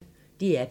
DR P1